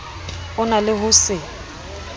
o na le ho se